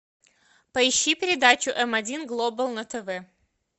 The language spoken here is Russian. поищи передачу м один глобал на тв